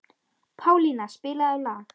Pálína, spilaðu lag.